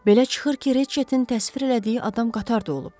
Belə çıxır ki, Reçetin təsvir elədiyi adam qatar da olub.